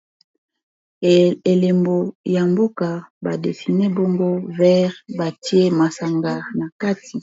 Elembo moko ya mboka badesine bongo vert batie masanga na kati.